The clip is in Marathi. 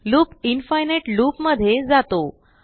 लूपinfinite loopमध्ये जातो